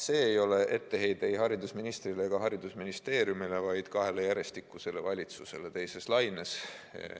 See ei ole etteheide ei haridusministrile ega haridusministeeriumile, vaid kahele järjestikusele valitsusele teise laine ajal.